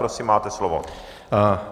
Prosím, máte slovo.